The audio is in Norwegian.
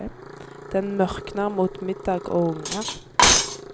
Den mørkner mot middag og unger.